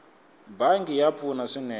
bangi ya pfuna swinene